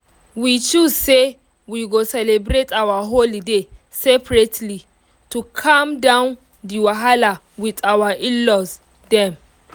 we choose say we go celebrate our holiday seperately to calm down di wahala with our in-laws dem